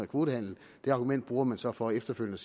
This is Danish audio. kvotehandel det argument bruger man så for efterfølgende